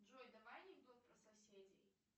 джой давай анекдот про соседей